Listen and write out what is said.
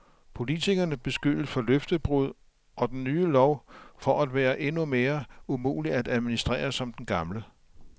Politikerne beskyldes for løftebrud og den nye lov for at være endnu mere umulig at administrere som den gamle.